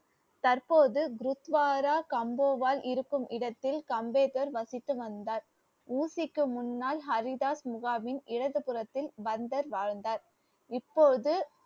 தற்போது ப்ருக்வாரா கம்போவால் இருக்கும் இடத்தில் கம்பேக்கர் வசித்து வந்தார் ஊசிக்கு முன்னால் ஹரிதாஸ் முகாமின் இடது புறத்தில் வந்தர் வாழ்ந்தார் இப்போது